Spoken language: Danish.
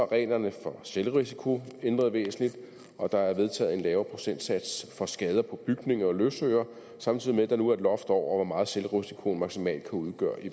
reglerne for selvrisiko ændret væsentligt og der er vedtaget en lavere procentsats for skader på bygninger og løsøre samtidig med at der nu er et loft over hvor meget selvrisikoen maksimalt kan udgøre i